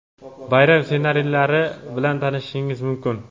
bayram ssenariylari bilan tanishishingiz mumkin.